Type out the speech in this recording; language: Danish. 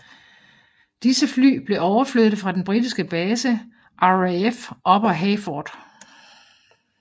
Disse fly blev overflyttet fra den britiske base RAF Upper Heyford